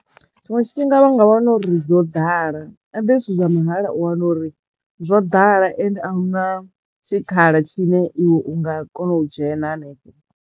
Tshiṅwe tshifhinga vha nga wana uri dzo ḓala habe zwithu zwa mahala u wana uri zwo ḓala ende a huna tshikhala tshine iwe u nga kona u dzhena hanefho.